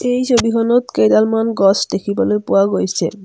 এই ছবিখনত কেইডালমান গছ দেখিবলৈ পোৱা গৈছে।